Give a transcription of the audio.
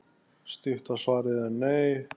Stutta svarið er: nei.